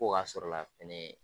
Ko k'a sɔrɔ la fɛnɛ